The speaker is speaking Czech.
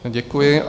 Děkuji.